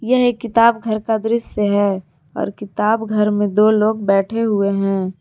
यह एक किताब घर का दृश्य है और किताब घर में दो लोग बैठे हुए हैं।